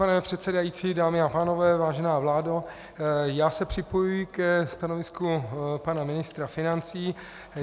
Pane předsedající, dámy a pánové, vážená vládo, já se připojuji ke stanovisku pana ministra financí.